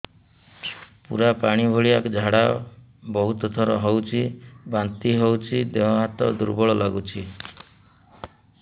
ପୁରା ପାଣି ଭଳିଆ ଝାଡା ବହୁତ ଥର ହଉଛି ବାନ୍ତି ହଉଚି ଦେହ ହାତ ଦୁର୍ବଳ ଲାଗୁଚି